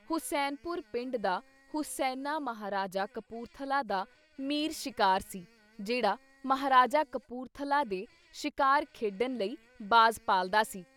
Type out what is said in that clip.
ਹੁਸੈਨਪੁਰ ਪਿੰਡ ਦਾ ਹੁਸੈਨਾ ਮਹਾਰਾਜਾ ਕਪੂਰਥਲਾ ਦਾ ਮੀਰ ਸ਼ਿਕਾਰ ਸੀ ਜਿਹੜਾ ਮਹਾਰਾਜਾ ਕਪੂਰਥਲਾ ਦੇ ਸ਼ਿਕਾਰ ਖੇਡਣ ਲਈ ਬਾਜ਼ ਪਾਲਦਾ ਸੀ।